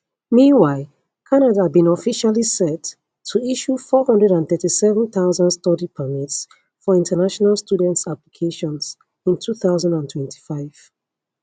meanwhile canada bin officially set to issue 437000 study permits for international students applications in 2025